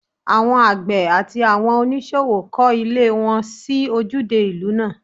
Àwọn àgbẹ̀ àti àwọn oníṣòwò kọ́ ilé wọn sí ojúde ìlú náà